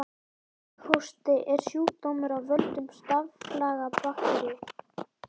Kíghósti er sjúkdómur af völdum staflaga bakteríu.